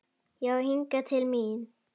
Já hingað til mín.